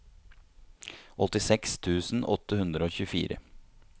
åttiseks tusen åtte hundre og tjuefire